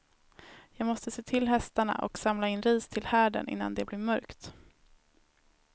Jag måste se till hästarna och samla in ris till härden innan det blir mörkt.